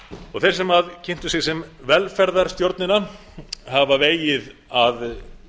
og þeir sem kynntu sig sem velferðarstjórnina hafa vegið að